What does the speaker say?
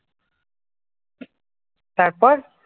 তারপর?